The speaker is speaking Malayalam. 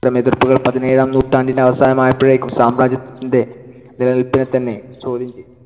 ഇത്തരം എതിർപ്പുകൾ പതിനേഴാം നൂറ്റാണ്ടിന്‍ടെ അവസാനമായപ്പോഴേക്കും സാമ്രാജ്യത്തിന്‍ടെ നിലനിൽപ്പിനെത്തന്നെ ചോദ്യം ചെയ്‌തു.